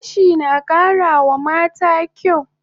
Gashi na kara wa mata kyaw